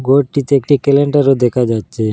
ঘরটিতে একটি কেলেন্ডারও দেখা যাচ্ছে।